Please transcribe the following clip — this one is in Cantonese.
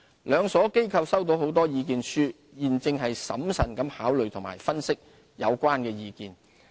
兩所機構收到很多意見書，現正審慎地考慮及分析有關意見。